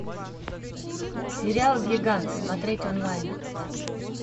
сериал гигант смотреть онлайн